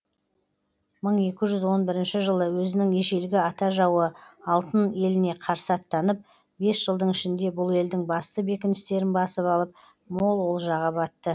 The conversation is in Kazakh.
мың екі жүз он бірінші жылы өзінің ежелгі ата жауы алтын еліне қарсы аттанып бес жылдың ішінде бұл елдің басты бекіністерін басып алып мол олжаға батты